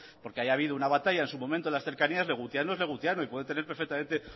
porque haya habido una batalla en su momento en las cercanías legutiano es legutiano y puede tener perfectamente